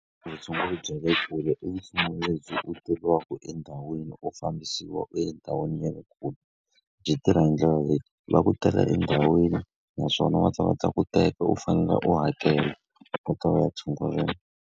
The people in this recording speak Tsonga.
Vutshunguri bya le kule i vutshunguri lebyi u tekiwaka endhawini u fambisiwa u endhawini ya le kule. Byi tirha hi ndlela leyi. Va ku tala endhawini naswona va ta va ta ku teka u fanele u hakela, u ta va ya u ya tshunguriwa.